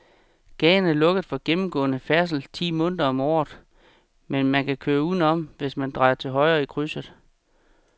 Gaden er lukket for gennemgående færdsel ti måneder om året, men man kan køre udenom, hvis man drejer til højre i krydset.